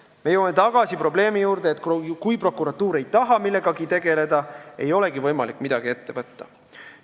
Me jõuame tagasi probleemi juurde, et kui prokuratuur ei taha millegagi tegeleda, siis ei olegi võimalik midagi ette võtta.